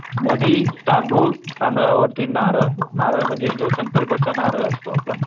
मधी तांदूळ तांदळावरती नारळ. नारळ म्हणजे जो संकल्पाचा नारळ असतो आपला.